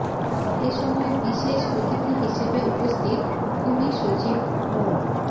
এ সময় বিশেষ অতিথি হিসেবে উপস্থিত ভূমি সচিব মো